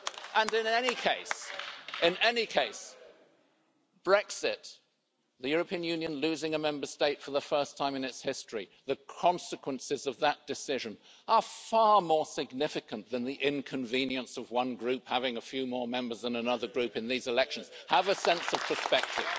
And in any case, Brexit the European Union losing a Member State for the first time in its history the consequences of that decision are far more significant than the inconvenience of one Group having a few more Members than another Group in these elections. Have a sense of perspective.